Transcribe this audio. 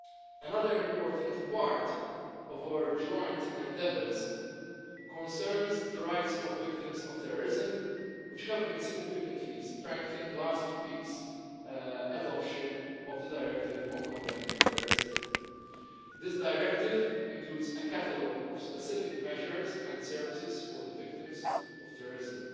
Another important part of our joint endeavours concerns the rights of victims of terrorism, which have been significantly strengthened by last week's adoption of the Directive on Combating Terrorism. This directive includes a catalogue of specific measures and services for the victims of terrorism.